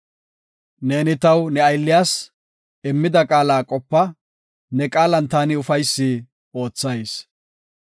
Neeni taw, ne aylliyas, immida qaala qopa; ne qaalan taani ufaysi oothayis.